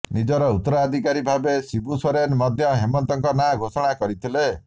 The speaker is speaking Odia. ନିଜର ଉତ୍ତରାଧିକାରୀ ଭାବେ ଶିବୁ ସୋରେନ ମଧ୍ୟ ହେମନ୍ତଙ୍କ ନାଁ ଘୋଷଣା କରିଥିଲେ